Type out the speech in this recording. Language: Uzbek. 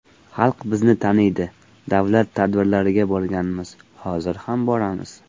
Xalq bizni taniydi, davlat tadbirlariga borganmiz, hozir ham boramiz.